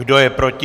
Kdo je proti?